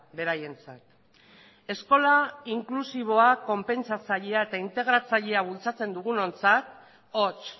beraientzat eskola inklusiboa konpensatzailea eta integratzailea bultzatzen dugunontzat hots